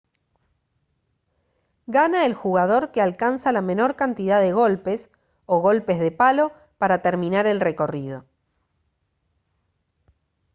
gana el jugador que alcanza la menor cantidad de golpes o golpes de palo para terminar el recorrido